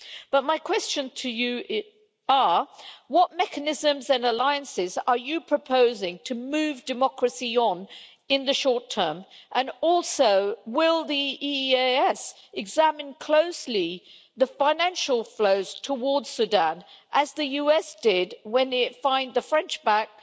But my questions to you are what mechanisms and alliances are you proposing to move democracy on in the short term, and also, will the EEAS examine closely the financial flows towards Sudan, as the US did when it fined the French backed